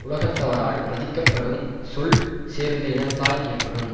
உலகத்தவரால் மதிக்கப்படும் சொல் சேர்ந்த இனத்தால் ஏற்படும்